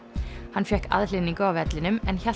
hann fékk aðhlynningu á vellinum en hélt